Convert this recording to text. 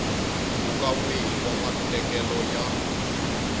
mpfhuka wihi wa matekelo ya